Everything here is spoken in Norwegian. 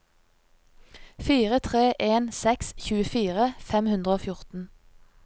fire tre en seks tjuefire fem hundre og fjorten